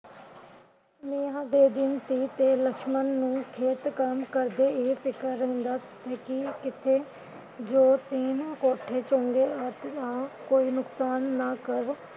ਮੀਹਾਂ ਦੇ ਦਿਨ ਸੀ ਤੇ ਲਕਸ਼ਮ ਨੂੰ ਖੇਤ ਕੰਮ ਕਰਦੇ ਇਹ ਫਿਕਰ ਰਹਿੰਦਾ ਸੀ ਕਿ ਕਿਤੇ ਦੋ ਤੀਨ ਕੋਠੇ ਚੰਗੇ ਕੋਈ ਨੁਕਸਾਨ ਨਾ ਕਰ